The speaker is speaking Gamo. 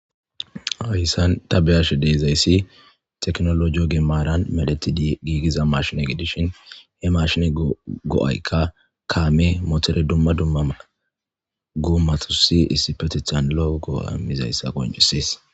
Hayisani ta ba'ashe dizageyisi tekonloje ogga marani medhetida issi mashine gidishin he mashine go'aiyka kame motore duma duma gomatusi isipetethani loo go'a imidayisa qoncisesi